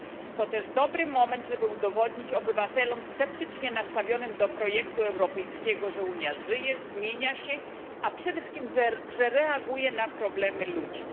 To też dobry moment, aby udowodnić obywatelom sceptycznie nastawionym do projektu europejskiego, że Unia żyje, zmienia się, a przede wszystkim, że reaguje na problemy ludzi.